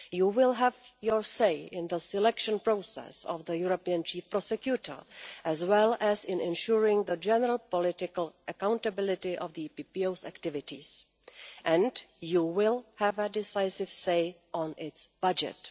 You will have your say in the selection process of the European Chief Prosecutor, as well as in ensuring the general political accountability of the EPPO's activities, and you will have a decisive say on its budget.